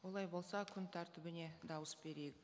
олай болса күн тәртібіне дауыс берейік